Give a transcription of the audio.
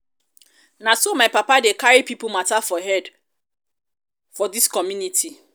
na so um my papa dey carry pipo mata for head for head for dis community.